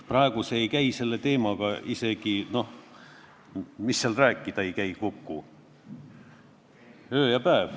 Praegu see ei käi kõne all oleva eelnõuga üldse kokku – need on nagu öö ja päev.